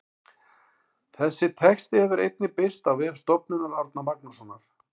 Þessi texti hefur einnig birst á vef Stofnunar Árna Magnússonar.